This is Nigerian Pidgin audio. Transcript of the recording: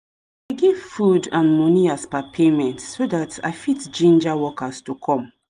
i dey give food and money as per payment so that i fit ginger workers to come